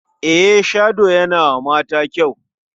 Eye-shadow yana ma mata kyau.